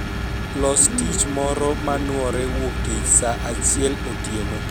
Los tich moro ma nuore wuoktich saa achiel otieno